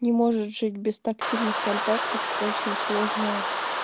не может жить без тактильных контактов очень сложно